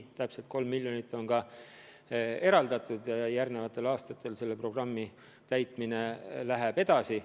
Täpselt 3 miljonit on selleks eraldatud ja järgmistel aastatel selle programmi täitmine läheb edasi.